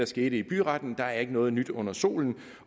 skete i byretten der er ikke noget nyt under solen